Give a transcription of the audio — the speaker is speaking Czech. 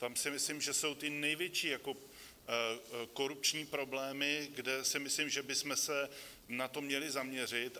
Tam si myslím, že jsou ty největší korupční problémy, kde si myslím, že bychom se na to měli zaměřit.